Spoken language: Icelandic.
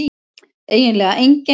eiginlega enginn